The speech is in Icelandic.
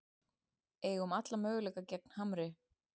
Eigum alla möguleika gegn Hamri